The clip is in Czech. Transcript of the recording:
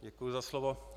Děkuji za slovo.